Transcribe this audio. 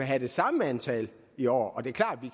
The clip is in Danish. have det samme antal i år